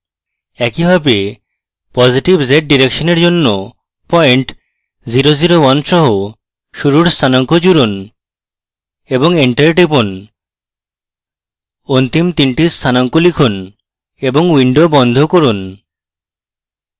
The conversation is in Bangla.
একইভাবে positive zdirection এর জন্য পয়েন্ট 0 0 1 সহ শুরুর স্থানাঙ্ক জুড়ুন এবং enter টিপুন অন্তিম তিনটি স্থানাঙ্ক লিখুন এবং window বন্ধ করুন